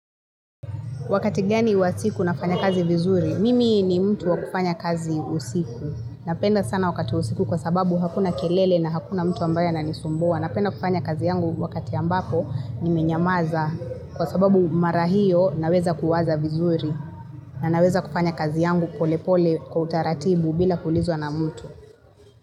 Wakati gani wa siku nafanya kazi vizuri, mimi ni mtu wa kufanya kazi usiku. Napenda sana wakati wa usiku kwa sababu hakuna kelele na hakuna mtu ambaye ananisumbua. Napenda kufanya kazi yangu wakati ambapo ni menyamaza kwa sababu marahio naweza kuwaza vizuri. Na naweza kufanya kazi yangu polepole kwa utaratibu bila kuulizwa na mtu.